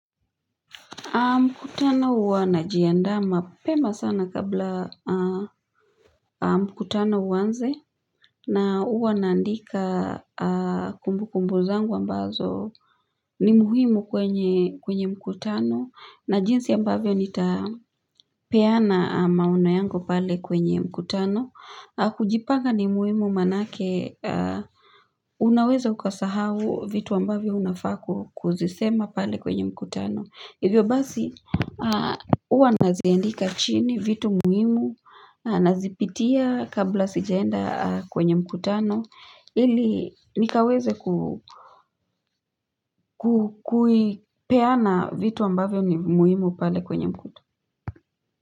Mkutano huwa najiandaa mapema sana kabla mkutano uanze na huwa naandika kumbukumbu zangu ambazo ni muhimu kwenye mkutano na jinsi ambavyo nitapeana maono yangu pale kwenye mkutano. Kujipanga ni muhimu manake unaweza ukasahau vitu ambavyo unafaa kuzisema pale kwenye mkutano. Hivyo basi, huwa naziandika chini vitu muhimu, nazipitia kabla sijaenda kwenye mkutano, ili nikaweze kuipeana vitu ambavyo ni muhimu pale kwenye mkutano.